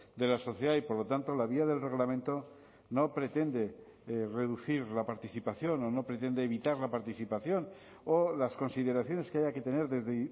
de la sociedad y por lo tanto la vía del reglamento no pretende reducir la participación o no pretende evitar la participación o las consideraciones que haya que tener desde